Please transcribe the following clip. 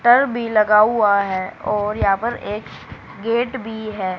टर भी लगा हुआ है और यहां पर एक गेट भी है।